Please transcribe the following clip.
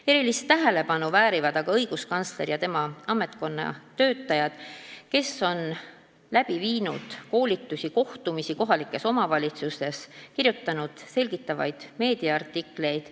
Erilist tänu väärivad aga õiguskantsler ja tema ametkonna töötajad ka selle eest, et nad on läbi viinud koolitusi ja kohtumisi kohalikes omavalitsustes ning kirjutanud selgitavaid artikleid.